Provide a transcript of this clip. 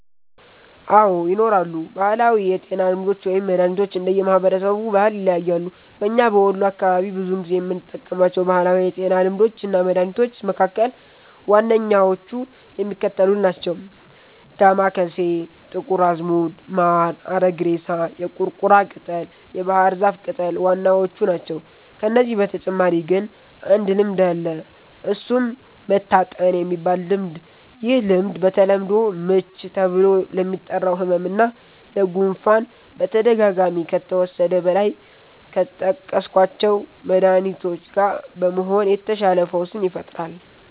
አዎ! ይኖራሉ። ባህላዊ የጤና ልምዶች ወይም መድሀኒቶች እንደየ ማህበረሰቡ ባህል ይለያያሉ። በኛ በወሎ አካባቢ ብዙውን ጊዜ የምንጠቀማቸው ባህላዊ የጤና ልምዶች እና መድሀኒቶች መካከል ዋነኛዎቹ የሚከተሉት ናቸው። ዳማከሴ፣ ጥቁር አዝሙድ፣ ማር፣ አረግሬሳ፣ የቁርቁራ ቅጠል፣ የባህር ዛፍ ቅጠል ዋናዎቹ ናቸው። ከነዚህ በተጨማሪ ግን አንድ ልምድ አለ እሱም "መታጠን"የሚባል ልምድ፤ ይህ ልምድ በተለምዶ "ምች" ተብሎ ለሚጠራው ህመም እና ለ"ጉፋን"በተደጋጋሚ ከተወሰደ ከላይ ከጠቀስኳቸው መድሀኒቶች ጋ በመሆን የተሻለ ፈውስን ይፈጥራል።